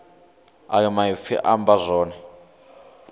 ayo maipfi a amba zwone